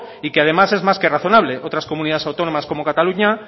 y que además es más que razonable otras comunidades autónomas como cataluña